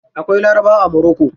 Akwai larabawa a moroko.